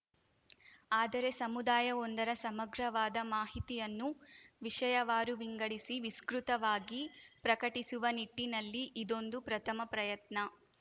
ಆದರೆ ಸಮುದಾಯವೊಂದರ ಸಮಗ್ರವಾದ ಮಾಹಿತಿಯನ್ನು ವಿಷಯವಾರು ವಿಂಗಡಿಸಿ ವಿಸ್ಕೃತವಾಗಿ ಪ್ರಕಟಿಸುವ ನಿಟ್ಟಿನಲ್ಲಿ ಇದೊಂದು ಪ್ರಥಮ ಪ್ರಯತ್ನ